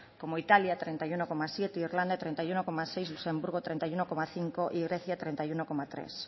como italia treinta y uno coma siete irlanda treinta y uno coma seis luxemburgo treinta y uno coma cinco y grecia treinta y uno coma tres